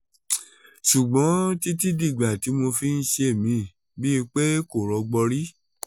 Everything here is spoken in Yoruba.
ṣùgbọ́n títí dìgbà tí mo fi ń ṣe mí bíi pé kò rọ́gbọ́n rí